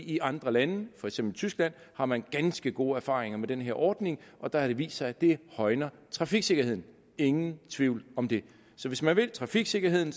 i andre lande for eksempel tyskland har man ganske gode erfaringer med den her ordning og der har det vist sig at det højner trafiksikkerheden ingen tvivl om det så hvis man vil trafiksikkerheden